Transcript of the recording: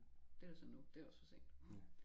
Det er så nu det også for sent